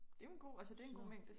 Det jo en god altså det en god mængde